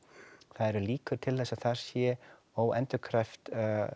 það eru líkur til þess að þar sé óendurkræft